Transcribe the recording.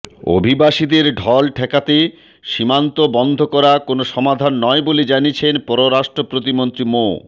অভিবাসীদের ঢল ঠেকাতে সীমান্ত বন্ধ করা কোনো সমাধান নয় বলে জানিয়েছেন পররাষ্ট্র প্রতিমন্ত্রী মো